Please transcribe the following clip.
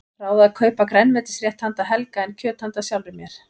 Ráð að kaupa grænmetisrétt handa Helga en kjöt handa sjálfri mér.